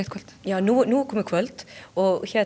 já nú er komið kvöld og